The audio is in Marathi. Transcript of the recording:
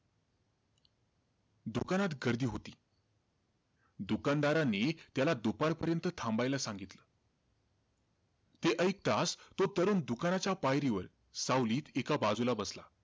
दुकानात गर्दी होती. दुकानदाराने त्याला दुपारपर्यंत थांबायला सांगितले. ते ऐकताचं, तो तरुण दुकानाच्या पायरीवर, सावलीत एका बाजूला बसला.